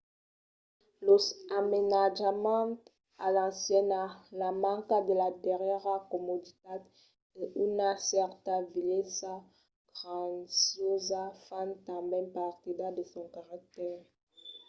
los amainatjaments a l'anciana la manca de las darrièras comoditats e una certa vielhesa graciosa fan tanben partida de son caractèr